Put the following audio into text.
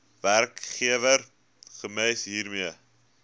werkgewer gems hiermee